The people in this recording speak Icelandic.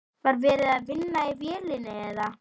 Var verið að vinna í vélinni eða?